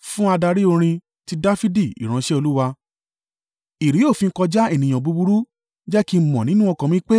Fún adarí orin. Ti Dafidi ìránṣẹ́ Olúwa. Ìré-òfin-kọjá ènìyàn búburú jẹ́ kí n mọ̀ nínú ọkàn mi pé,